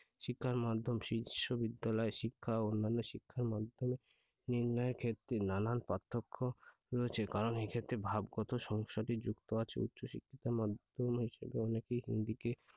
শিক্ষার মাধ্যম বিশ্ববিদ্যালয় শিক্ষা ও অন্যান্য শিক্ষার মাধ্যমে নির্ণয়ের ক্ষেত্রে নানান পার্থক্য রয়েছে। কারণ এক্ষেত্রে ভাবগত সমস্যাটি যুক্ত আছে উচ্চ শিক্ষার মাধ্যমে অনেকেই হিন্দিতে,